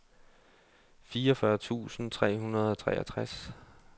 fireogfyrre tusind tre hundrede og treogtres